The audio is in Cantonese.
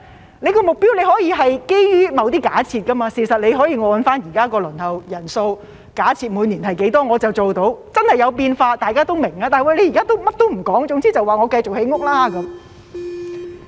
局長的目標可以是基於某些假設，事實可以按照現在的輪候人數，假設每年是多少便可以做到，即使真的有變化，大家也會明白，但現在甚麼也不說，總之說會繼續建屋。